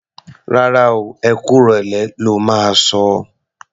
Rárá o, ẹ kú ìrọ̀lẹ́ lo máa sọ o.